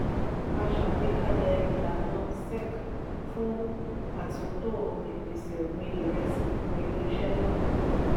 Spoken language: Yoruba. a ṣàgbékalẹ̀ ìlànà sec fún atunto ìpèsè ọgbin iresi fún ilé iṣé naa.